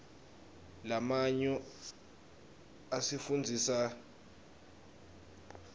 lamanyo asifundzisa rdatsitg